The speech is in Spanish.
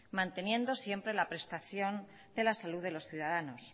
manteniendo siempre la prestación de la salud de los ciudadanos